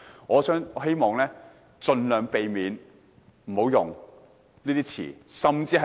我希望盡量避免使用惡毒詞語。